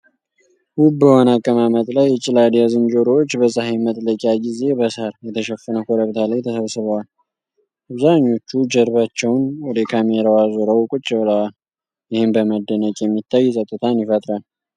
ውብ በሆነ አቀማመጥ ላይ፣ ጭላዳ ዝንጀሮዎች በፀሐይ መጥለቂያ ጊዜ በሣር የተሸፈነ ኮረብታ ላይ ተሰብስበዋል። አብዛኞቹ ጀርባቸውን ወደ ካሜራው አዙረው ቁጭ ብለዋል፤ ይህም በመደነቅ የሚታይ ጸጥታን ይፈጥራል።